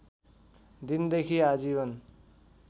दिन देखि आजीवन